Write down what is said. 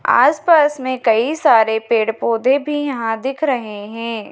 आस पास में कई सारे पेड़ पौधे भी यहां दिख रहे हैं।